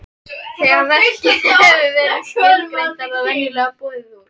Þegar verkið hefur verið skilgreint er það venjulega boðið út.